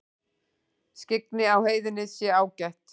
Skyggni á heiðinni sé ágætt